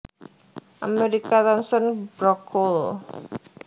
Amerika Thomson Brook Cole